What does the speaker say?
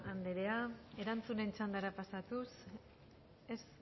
anderea erantzunen txandara pasatuz ez